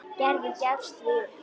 Gerður gefst því upp.